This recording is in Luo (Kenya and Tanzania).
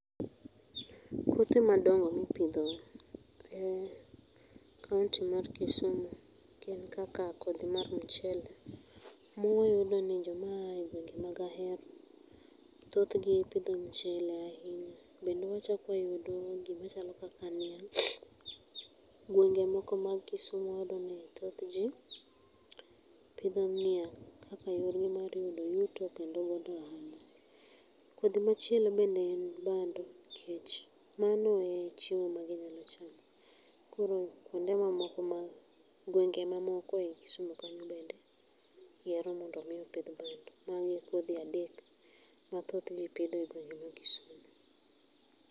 Kothe madongo mipitho e kaunti mar Kisumu gin kaka kodhi mar mchele muyudo ni jokma ae ngwenge mag ahero thoth gi pitho mchele ahinya bende wachak wayudo gima chalo kaka niang', gwenge mag kisumu wayudo ni thoth ji pitho niang kaka yorgi mar yudo yuto kendo kod ohala ,kodhi machielo bende en bando nikech mano e chiemo ma ginyalo chamo koro kwonde mamoko ma gweng'e mamoko e kisumu kanyo bende yiero mondo omi opith bando mago e kodhi adek ma thoth ji pidho e gweng'e ma Kisumu.